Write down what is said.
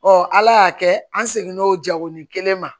Ɔ ala y'a kɛ an segin n'o jako ni kelen ma